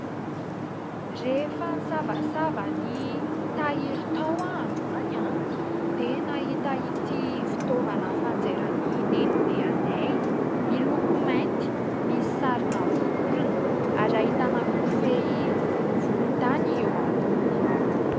Rehefa nisavasava ny tahiry tao aho andro an! dia nahita ity fitaovana fanjairan'ny nenibe anay. Miloko mainty misy sarina vorona, ary hahitana kofehy volontany eo ambony.